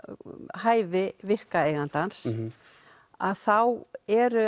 hæfi virka eigandans að þá eru